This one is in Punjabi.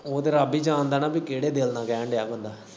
ਓ ਤੇ ਰੱਬ ਹੀ ਜਾਣਦਾ ਐ ਨਾ ਕਿਹੜੇ ਦਿਲ ਨਾਲ ਕੈਨ ਦਿਆ ਬੰਦਾ।